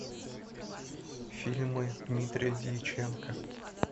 фильмы дмитрия дьяченко